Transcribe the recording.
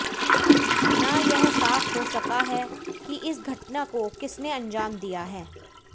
ना यह साफ हो सका है कि इस घटना को किसने अंजाम दिया है